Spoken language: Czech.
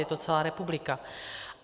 Je to celá republika.